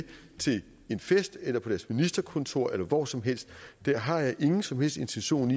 til en fest eller på deres ministerkontor eller hvor som helst har jeg ingen som helst intention